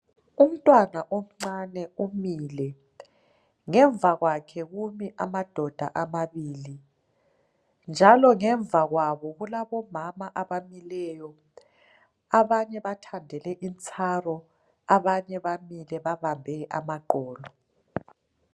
Umtwana omncane umile, ngemva kwakhe kumi amadoda amabili njalo ngemva kwabo kulabomama abamileyo abanye bathandele intsaro abanye bamile babambe amaqolo.